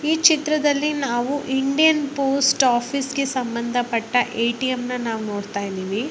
ಈ ಚಿತ್ರದಲ್ಲಿ ನಾವು ಇಂಡಿಯನ್ ಪೋಸ್ಟ್ ಆಫೀಸ್ಗೆ ಸಂಬದ ಪಟ್ಟ ಎ.ಟಿ.ಎಮ್.‌ ನ ನಾವ ನೊಡ್ತಾ ಇದ್ದಿವಿ .